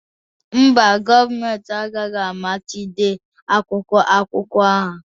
Mba, gọọmentị agaghị amachibido akwụkwọ akụkọ ahụ